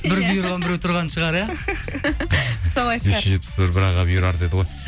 бір бұйырған біреу тұрған шығар иә солай шығар бес жүз жетпіс бір бір аға бұйырар деді ғой